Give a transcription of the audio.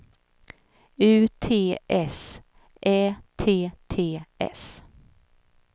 U T S Ä T T S